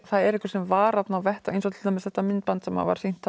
það er einhver sem var þarna eins og til dæmis þetta myndband sem var sýnt